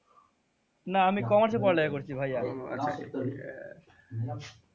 না আমি commerce এ পড়া লেখা করসি ভাইয়া।